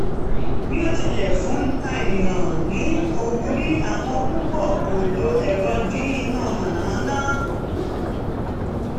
bí ó tilẹ̀ fún ènìyàn ní ìwúrí àwọn púpọ̀ kọ̀ lo ẹ̀rọ dín iná mànàmáná